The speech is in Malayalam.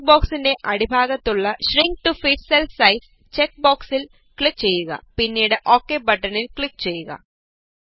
ഡയലോഗ് ബോക്സിന്റെ അടിഭാഗത്ത് ഉള്ള shrink to fit cell size check ബോക്സില് ക്ലിക് ചെയ്യുക പിന്നീട് ഓകെ ബട്ടണില് ക്ലിക് ചെയ്യുക